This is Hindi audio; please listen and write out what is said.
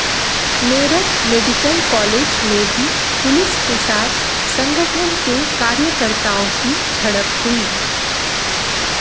मेरठ मेडिकल कॉलेज में भी पुलिस के साथ संगठन के कार्यकर्ताओं की झड़प हुई